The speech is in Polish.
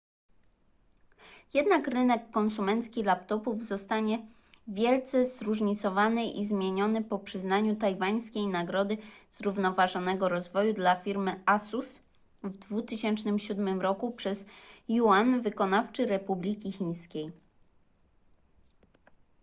jednak rynek konsumencki laptopów zostanie wielce zróżnicowany i zmieniony po przyznaniu tajwańskiej nagrody zrównoważonego rozwoju dla firmy asus w 2007 roku przez yuan wykonawczy republiki chińskiej